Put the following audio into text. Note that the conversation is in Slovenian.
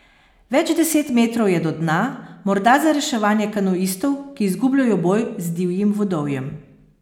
Več deset metrov je do dna, morda za reševanje kanuistov, ki izgubljajo boj z divjim vodovjem.